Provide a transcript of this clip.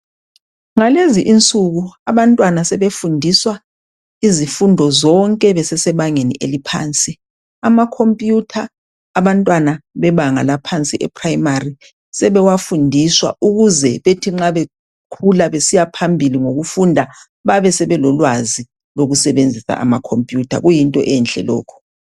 Ngalezi insuku abantwana sebefundiswa izifundo zonke besesebangeni eliphansi. Amakompuyutha abantwana bebanga laphansi ephrayimari, sebewafundiswa ukuze bethi nxa bekhula besiyaphambili ngokufunda babe sebelolwazi lokusebenzisa amakomputha, kuyinto enhle lokhu.